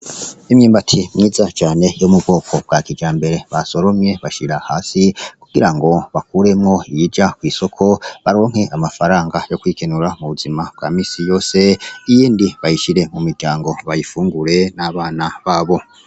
Imyumbati myiza cane yo mubwoko bwa kijambere basoromye bashira hasi kugira ngo bakuremwo iyija kw' isoko baronke amafaranga yo kwikenura mubuzima bwa misi yose iyindi bayishire mumiryango bayifungure n' abana babo.